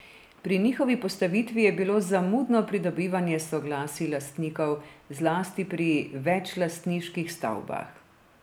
Pri njihovi postavitvi je bilo zamudno pridobivanje soglasij lastnikov, zlasti pri večlastniških stavbah.